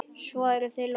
Svo er þessu lokið?